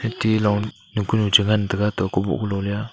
tilong kunu chu chi ngan taga atoh kuboh kunu le a.